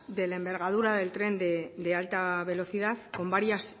de la envergadura del tren de alta velocidad con varias